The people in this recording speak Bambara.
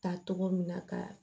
Ta togo min na ka